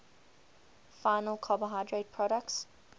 final carbohydrate products